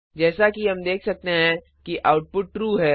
जैसा कि हम देख सकते हैं कि आउटपुट ट्रू है